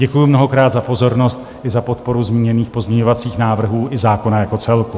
Děkuju mnohokrát za pozornost i za podporu zmíněných pozměňovacích návrhů i zákona jako celku.